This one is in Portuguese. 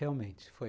Realmente, foi.